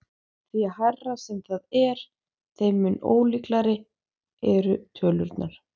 Því hærra sem það er þeim mun ólíkari eru tölurnar.